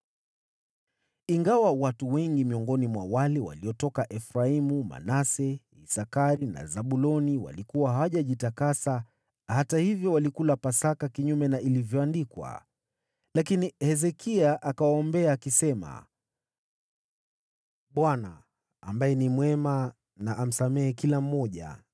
Ingawa watu wengi miongoni mwa wale waliotoka Efraimu, Manase, Isakari na Zabuloni walikuwa hawajajitakasa, hata hivyo walikula Pasaka kinyume na ilivyoandikwa. Lakini Hezekia akawaombea, akisema, “ Bwana , ambaye ni mwema na amsamehe kila mmoja